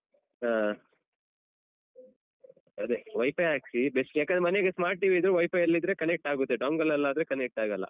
ಹಾ ಅದೆ WiFi ಹಾಕ್ಸಿ best ಯಾಕಂದ್ರೆ ಮನೆಗೆ smart TV ಇದ್ರೆ WiFi ಎಲ್ಲ ಇದ್ರೆ connect ಆಗುತ್ತೆ dongle ಲಾದ್ರೆ connect ಆಗಲ್ಲ.